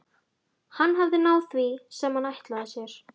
Hann hafði náð því sem hann ætlaði sér.